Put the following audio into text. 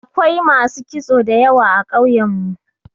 Da akwai masu kitso da yawa a ƙauyen mu.